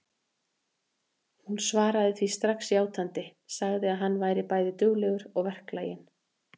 Hún svaraði því strax játandi, sagði að hann væri bæði duglegur og verklaginn.